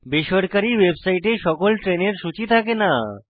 বেসরকারী ওয়েবসাইটে সকল ট্রেনের সূচী থাকে না